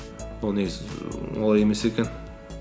олай емес екен